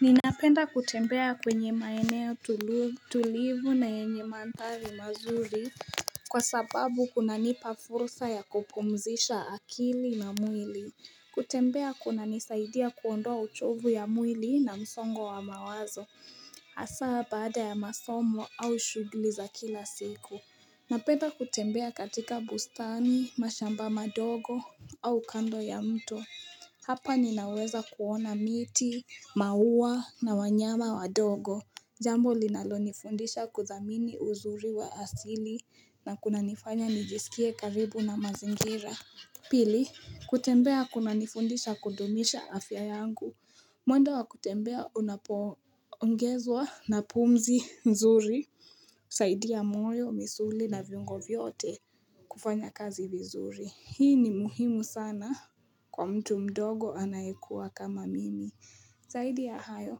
Ninapenda kutembea kwenye maeneo tulivu na yenye mandhari mazuri Kwa sababu kunanipa fursa ya kupumzisha akili na mwili kutembea kunanisaidia kuondoa uchovu ya mwili na msongo wa mawazo hasa baada ya masomo au shughuli za kila siku Napenda kutembea katika bustani mashamba madogo au kando ya mto Hapa ninaweza kuona miti, maua na wanyama wadogo Jambo linalonifundisha kudhamini uzuri wa asili na kunanifanya nijisikie karibu na mazingira Pili, kutembea kuna nifundisha kudumisha afya yangu mwendo wa kutembea unapoongezwa na pumzi nzuri zaidi ya moyo, misuli na viungo vyote kufanya kazi vizuri Hii ni muhimu sana Kwa mtu mdogo anayekuwa kama mimi Zaidi ya hayo,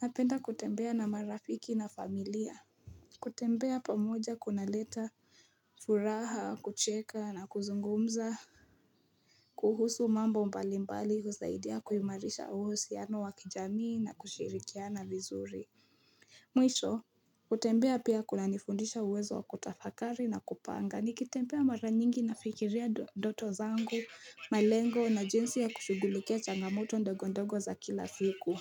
napenda kutembea na marafiki na familia kutembea pamoja kunaleta, furaha, kucheka na kuzungumza kuhusu mambo mbali mbali husaidia kuhimarisha uhusiano wa kijamii na kushirikiana vizuri Mwisho, kutembea pia kunanifundisha uwezo wa kutafakari na kupanga nikitembea mara nyingi nafikiria ndoto zangu, malengo na jinsi ya kushugulikia changamoto ndogondogo za kila siku.